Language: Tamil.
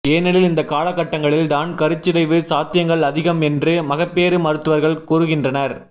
ஏனெனில் இந்த காலக்கட்டங்களில்தான் கருச்சிதைவு சாத்தியங்கள் அதிகம் என்று மகப்பேறு மருத்துவர்கள் கூறுகின்றனர்